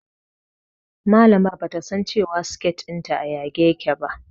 Malamar bata san cewa siket ɗinta a yage yake ba